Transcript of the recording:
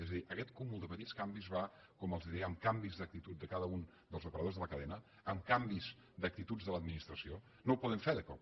és a dir aquest cúmul de petits canvis va com els deia amb canvis d’actitud de cada un dels operadors de la cadena amb canvis d’actituds de l’administració no ho podem fer de cop